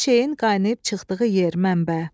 Bir şeyin qaynayıp çıxdığı yer, mənbə.